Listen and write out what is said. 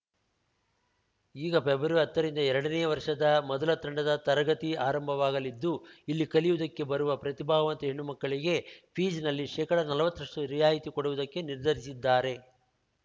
ಈಗ ಫೆಬ್ರವರಿಹತ್ತ ರಿಂದ ಎರಡನೇಯ ವರ್ಷದ ಮೊದಲ ತಂಡದ ತರಗತಿ ಆರಂಭವಾಗಲಿದ್ದು ಇಲ್ಲಿ ಕಲಿಯುವುದಕ್ಕೆ ಬರುವ ಪ್ರತಿಭಾವಂತ ಹೆಣ್ಣು ಮಕ್ಕಳಿಗೆ ಫೀಸ್‌ನಲ್ಲಿ ಶೇಕಡನಲ್ವತ್ತರಷ್ಟುರಿಯಾಯಿತಿ ಕೊಡುವುದಕ್ಕೆ ನಿರ್ಧರಿಸಿದ್ದಾರೆ